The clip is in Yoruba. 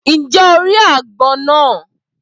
Ǹjẹ́ o ri àgbọn náà?